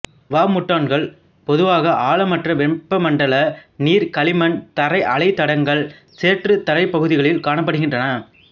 வாமுட்டான்கள் பொதுவாக ஆழமற்ற வெப்பமண்டல நீரில் களிமண் தரை அலைதடங்கள் சேற்றுத் தரைப்பகுதிகளில் காணப்படுகின்றன